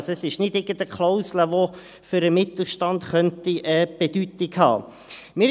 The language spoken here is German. Also, das ist nicht irgendeine Klausel, die für den Mittelstand Bedeutung haben könnte.